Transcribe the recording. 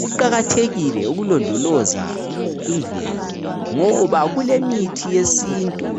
Kuqakathekile ukulondoloza imvelo ngoba kulemithi yesintu